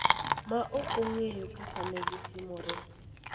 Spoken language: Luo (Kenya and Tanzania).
ma ok ong�eyo kaka ne gitimore.